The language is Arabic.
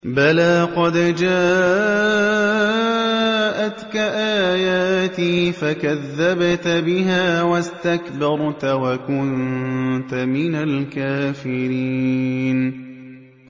بَلَىٰ قَدْ جَاءَتْكَ آيَاتِي فَكَذَّبْتَ بِهَا وَاسْتَكْبَرْتَ وَكُنتَ مِنَ الْكَافِرِينَ